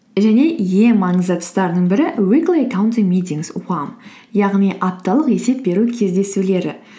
және ең маңызды тұстарының бірі уикли аккаунттинг митингс яғни апталық есеп беру кездесулері